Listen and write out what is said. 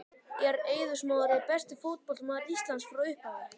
Er Eiður Smári besti fótboltamaður Íslands frá upphafi?